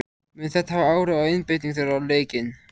Mun þetta hafa áhrif á einbeitingu þeirra á leikinn?